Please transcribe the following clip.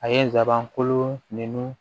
A ye n sabanko ninnu